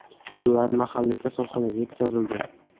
Ular mahalliy kasalxonaga yetkazildi.